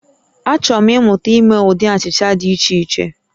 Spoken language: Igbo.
Achọrọ m ịmụta ime ụdị achịcha dị iche iche